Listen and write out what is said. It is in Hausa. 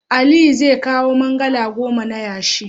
Aliyu zai kawo mangalaa goma na yashi.